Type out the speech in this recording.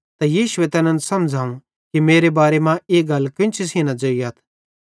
त यीशुए तैनन् समझ़ावं कि मेरे बारे मां ई गल केन्ची सेइं न ज़ोइयथ